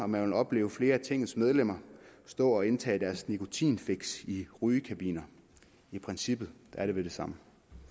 man opleve flere af tingets medlemmer stå og indtage deres nikotinfix i rygekabiner i princippet er det vel det samme